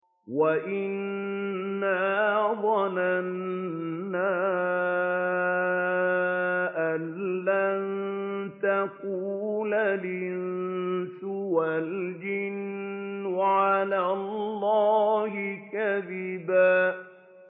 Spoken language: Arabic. وَأَنَّا ظَنَنَّا أَن لَّن تَقُولَ الْإِنسُ وَالْجِنُّ عَلَى اللَّهِ كَذِبًا